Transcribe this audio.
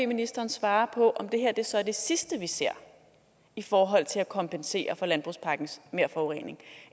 ministeren svare på om det her så er det sidste vi ser i forhold til at kompensere for landbrugspakkens merforurening